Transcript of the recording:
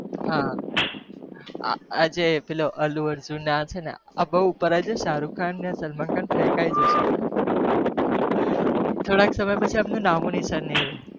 હા અલ્લા અર્જુન પેલો સલમાન ખાન ને સરુખ ખાન ને ફેકય જશે